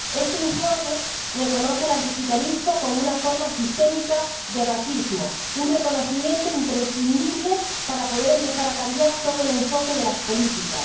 Este informe reconoce el antigitanismo como una forma sistémica de racismo, un reconocimiento imprescindible para poder empezar a cambiar todo el enfoque de las políticas.